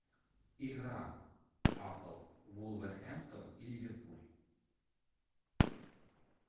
игра апл вулверхэмптон и ливерпуль